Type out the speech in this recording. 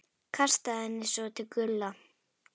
Kastaði henni svo til Gulla.